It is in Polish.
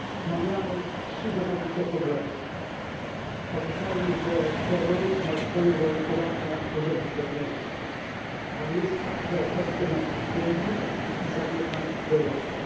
Panie Przewodniczący! Omawiamy trzy zasadnicze problemy. Pamiętajmy, że terroryzm ma swoje uwarunkowania i korzenie zewnętrzne, ale jest także efektem naszych błędów i zaniechań w Europie.